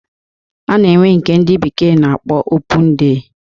A na-enwe nke ndị bekee na-akpọ opun dey